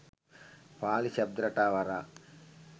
පාලි ශබ්ද රටාව හරහා